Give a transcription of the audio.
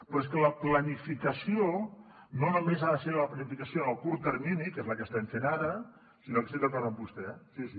però és que la planificació no només ha de ser la planificació en el curt termini que és la que estem fent ara sinó que estic d’acord amb vostè sí sí